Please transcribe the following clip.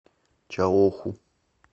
чаоху